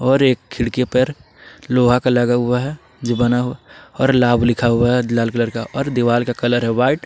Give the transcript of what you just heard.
और एक खिड़की पर लोहा का लगा हुआ है जो बना हुआ और लाभ लिखा हुआ है लाल कलर का और दीवाल का कलर है व्हाइट ।